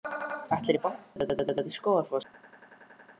Ætlarðu í bankann?